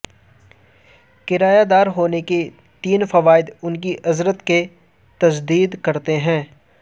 کرایہ دار ہونے کے تین فوائد ان کی اجرت کی تجدید کرتے ہیں